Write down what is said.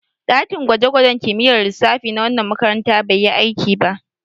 Ɗakin gwaje-gwajen kimiyyar lissafi na wannan makaranta bai yi aiki ba.